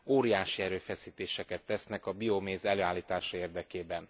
Óriási erőfeszítéseket tesznek a bioméz előállítása érdekében.